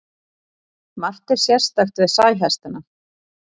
Margt er sérstakt við sæhestana.